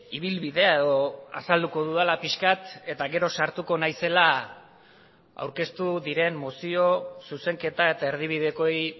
ibilbidea edo azalduko dudala pixka bat eta gero sartuko naizela aurkeztu diren mozio zuzenketa eta erdibidekoei